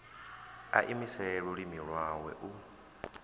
a imise lulimi lwawe u